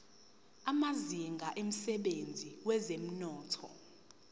amazinga emsebenzini wezomnotho